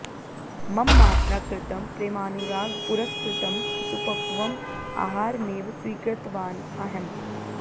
मम मात्रा कृतं प्रेमानुरागपुरस्कृतं सुपक्वम् आहारमेव स्वीकृतवान् अहम्